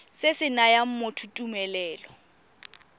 se se nayang motho tumelelo